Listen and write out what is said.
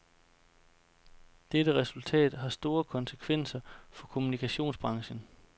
Dette resultat har store konsekvenser for kommunikationsbranchen.